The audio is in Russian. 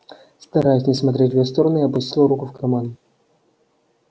стараясь не смотреть в её сторону я опустил руку в карман